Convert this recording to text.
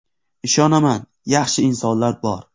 Ishonaman, yaxshi insonlar bor.